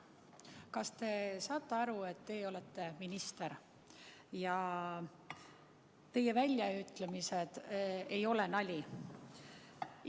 Kas te saate aru, et te olete minister ja teie väljaütlemised ei ole nali?